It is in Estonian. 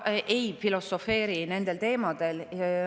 Ma ei filosofeeri nendel teemadel.